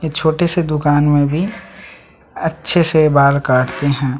ये छोटे से दुकान में भी अच्छे से बाल काटते है।